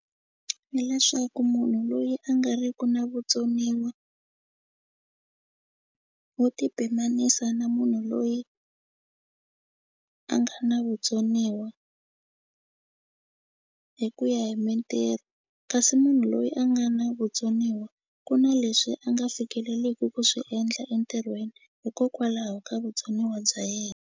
Hi leswaku munhu loyi a nga ri ku na vutsoniwa wo ti pimanisa na munhu loyi a nga na vutsoniwa hi ku ya hi mintirho kasi munhu loyi a nga na vutsoniwa ku na leswi a nga fikeleleku ku swi endla entirhweni hikokwalaho ka vutsoniwa bya yena.